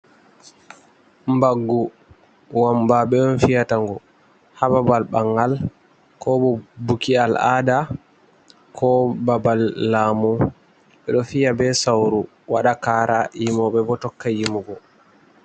Baggu wamba ɓe on fiyata ngu ha babal bangal, ko bo buki al'ada, ko babal lamu ɓeɗo fiya be sauru waɗa kara yimoɓe bo tokka yimugo.